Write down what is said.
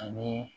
Ani